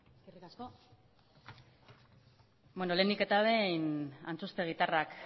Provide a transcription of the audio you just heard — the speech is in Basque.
eskerrik asko lehenik eta behin antxustegitarrak